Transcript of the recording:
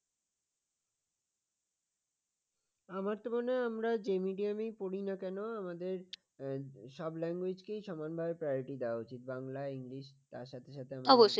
আমার তো মনে হয় আমরা যে medium পড়ি না কেন আমাদের সব Language কি সমান ভাবে priority দেওয়া উচিত বাংলা english তার সাথে সাথে আমাদের